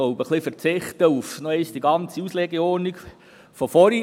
Ich verzichte darauf, die ganze Auslegung von vorhin wiederzugeben.